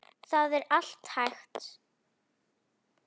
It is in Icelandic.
Það er allt hægt.